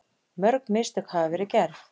Mörg mistök hafa verið gerð